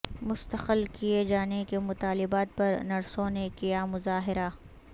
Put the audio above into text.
مستقل کئے جانے کے مطالبات پر نرسوں نے کیامظاہرہ